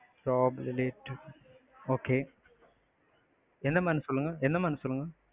lab relate okay என்ன mam சொல்லுங்க. என்ன mam சொல்லுங்க.